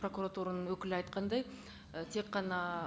прокуратураның өкілі айтқандай і тек қана